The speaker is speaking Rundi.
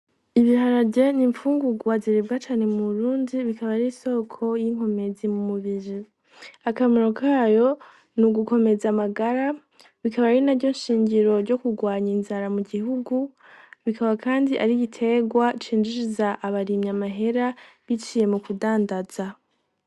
Ibiharaje niimfungugwa zerebacani mu brundi bikaba ari soko y'inkomezi mu mubiri akamaro kayo ni ugukomeza amagara bikaba ari na ryo nshingiro ryo kurwanya inzara mu gihugu bikaba, kandi arigitegwa cinjijiza abarimyi amahera biciye mu kudandaza.